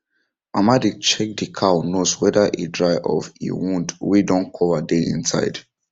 mama dey check the cow nose whether e dry of if wound wey don cover dey inside